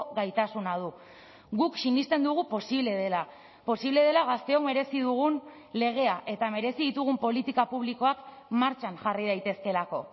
gaitasuna du guk sinesten dugu posible dela posible dela gazteon merezi dugun legea eta merezi ditugun politika publikoak martxan jarri daitezkeelako